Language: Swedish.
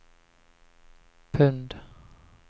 pund